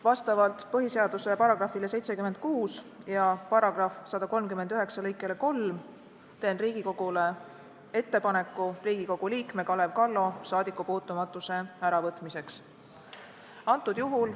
Vastavalt põhiseaduse §-le 76 ja § 139 lõikele 3 teen Riigikogule ettepaneku Riigikogu liikme Kalev Kallo saadikupuutumatuse äravõtmiseks.